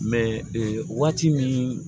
ee waati min